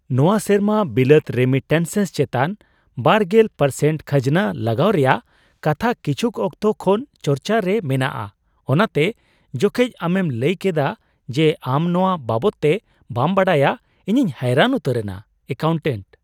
ᱱᱚᱶᱟ ᱥᱮᱨᱢᱟ ᱵᱤᱞᱟᱹᱛ ᱨᱮᱢᱤᱴᱮᱱᱥᱮᱥ ᱪᱮᱛᱟᱱ ᱒0% ᱠᱷᱟᱡᱱᱟ ᱞᱟᱜᱟᱣ ᱨᱮᱭᱟᱜ ᱠᱟᱛᱷᱟ ᱠᱤᱪᱷᱩᱠ ᱚᱠᱛᱚ ᱠᱷᱚᱱ ᱪᱟᱨᱪᱟ ᱨᱮ ᱢᱮᱱᱟᱜᱼᱟ, ᱚᱱᱟᱛᱮ ᱡᱚᱠᱷᱚᱱ ᱟᱢᱮᱢ ᱞᱟᱹᱭ ᱠᱮᱫᱼᱟ ᱡᱮ ᱟᱢ ᱱᱚᱶᱟ ᱵᱟᱵᱚᱫ ᱛᱮ ᱵᱟᱢ ᱵᱟᱰᱟᱭᱟ ᱤᱧᱤᱧ ᱦᱚᱭᱨᱟᱱ ᱩᱛᱟᱹᱨᱮᱱᱟ ᱾ (ᱮᱠᱟᱣᱩᱱᱴᱮᱱᱴ)